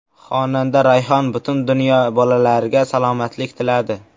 Xonanda Rayhon butun dunyo bolalariga salomatlik tiladi.